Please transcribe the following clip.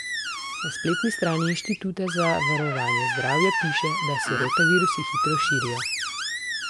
Na spletni stani Inštituta za varovanje zdravja piše, da se rotavirusi hitro širijo.